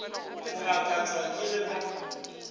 go gakatšwa ke ge ba